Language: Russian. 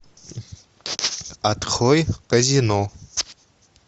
открой казино